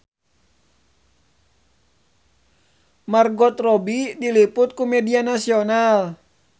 Margot Robbie diliput ku media nasional